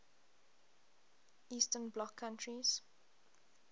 eastern bloc countries